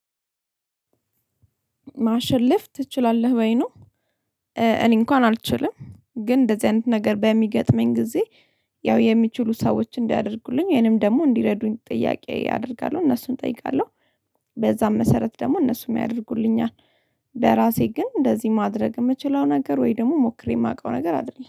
ማሸለፍ ትችላለህ በይኑ እኔ እንኳን አልችልም ግን እንደዚህ አይነት ነገር በሚገጥመኝ ጊዜ ያው የሚችሉ ሰዎች እንዲያደርጉልኝ ይሄንም ደግሞ እንዲረዱኝ ጥያቄ አደርጋለሁ እነሱን እጠይቃለሁ። በዛም መሰረት ደግሞ እነሱም ያደርጉልኛል። በራሴ ግን እንደዚህ ማድረግ የምችለው ነገር ወይ ደግሞ ሞክሬ የማውቀው ነገር አይደለም